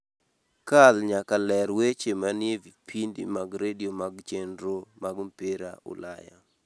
kal nyaka ler weche manie vipindi mag radio mag chenro mag mpira ulaya